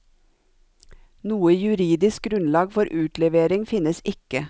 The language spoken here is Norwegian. Noe juridisk grunnlag for utlevering finnes ikke.